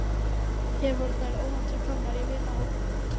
Hér voru þeir óvænt komnir í vinahóp.